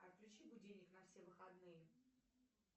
отключи будильник на все выходные